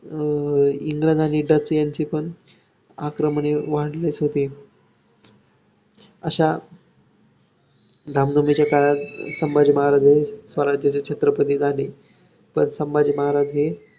इंग्रज आणि डच यांची पण आक्रमणे वाढलीच होती, अश्या धामधुमीच्या काळात संभाजी महाराज हे स्वराज्याचे छत्रपती झाले. तर संभाजी महाराज हे अं